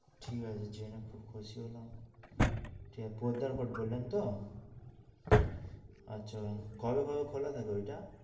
ঠিক আছে, জেনে খুব খুশি হলাম যে পদ্দার কোট বললেন তো কবে কবে খোলা থাকে ওইটা